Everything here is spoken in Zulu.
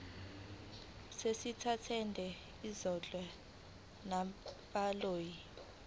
sezitatimende ezihlowe ngabahloli